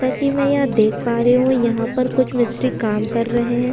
जैसा कि मैं यहां देख पा रही हूँ यहां पर कुछ मिस्त्री काम कर रहे हैं।